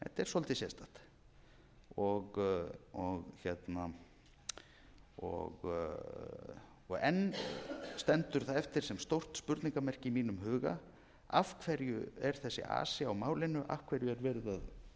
svolítið sérstakt enn stendur það eftir sem stórt spurningarmerki í mínum huga af hverju er þessi asi á málinu af hverju er verið að